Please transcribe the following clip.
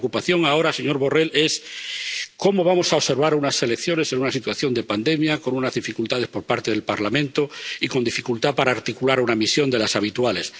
Y la preocupación ahora, señor Borrell, es cómo vamos a observar unas elecciones en una situación de pandemia, con unas dificultades por parte del Parlamento y con dificultad para articular una misión de las habituales.